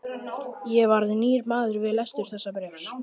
Ég varð nýr maður við lestur þessa bréfs.